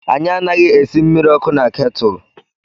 Anyị anaghị esị mmiri ọkụ na ketúlú.